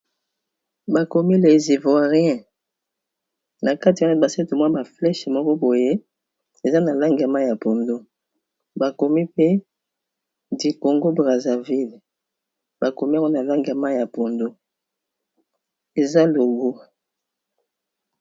Ba komi les ivoiriens, na kati wana ba sali tu mwa ba flèche moko boye, eza na langi ya mayi ya pondu . Ba komi pe du Congo brazza ville, ba kom'iango na langi maui ya pondu, eza logo .